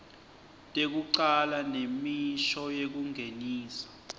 tekucala nemisho yekungenisa